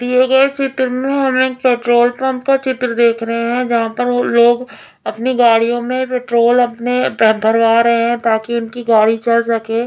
दिए गए चित्र में हम एक पेट्रोल पम्प का चित्र देख रहे हैं जहाँ पर वो लोग अपनी गाड़ियों में पेट्रोल अपने पे भरवा रहे हैं ताकि गाड़ी उनकी चल सके।